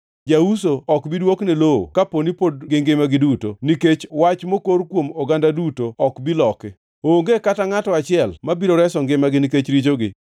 Jauso ok bi dwokne lowo kaponi pod gingima giduto. Nikech wach mokor kuom oganda duto ok bi loki. Onge kata ngʼato achiel mabiro reso ngimagi nikech richogi.